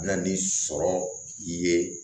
Na ni sɔrɔ ye